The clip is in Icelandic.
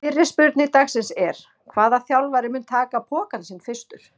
Fyrri spurning dagsins er: Hvaða þjálfari mun taka pokann sinn fyrstur?